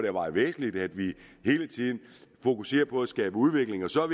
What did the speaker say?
er meget væsentligt at vi hele tiden fokuserer på at skabe udvikling så